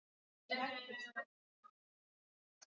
Í lokuðu íláti dreifist gas jafnt.